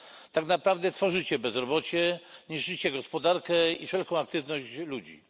Tak naprawdę tworzycie bezrobocie, niszczycie gospodarkę i wszelką aktywność ludzi.